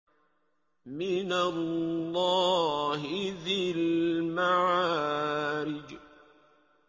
مِّنَ اللَّهِ ذِي الْمَعَارِجِ